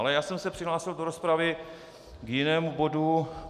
Ale já jsem se přihlásil do rozpravy k jinému bodu.